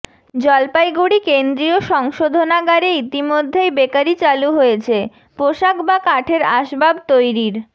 জলপাইগুড়ি কেন্দ্রীয় সংশোধনাগারে ইতিমধ্যেই বেকারি চালু হয়েছে পোশাক বা কাঠের আসবাব তৈরির